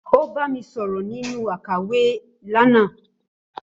Ó bá mi sọ̀rọ̀ nínú àkàwé lánàá.